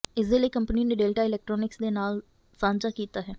ਇਸਦੇ ਲਈ ਕੰਪਨੀ ਨੇ ਡੇਲਟਾ ਇਲੈਕਟ੍ਰੋਨਿਕਸ ਦੇ ਨਾਲ ਸਾਂਝਾ ਕੀਤਾ ਹੈ